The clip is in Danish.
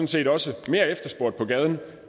set også mere efterspurgt på gaden